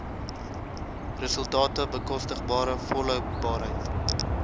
resultate bekostigbare volhoubaarheid